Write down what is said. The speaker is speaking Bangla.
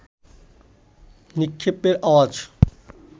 নিক্ষেপের আওয়াজ